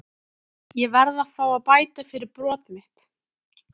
Ég verð að fá að bæta fyrir brot mitt.